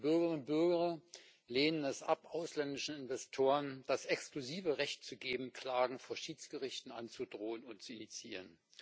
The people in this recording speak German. Die Bürgerinnen und Bürger lehnen es ab, ausländischen Investoren das exklusive Recht zu geben, Klagen vor Schiedsgerichten anzudrohen und zu initiieren.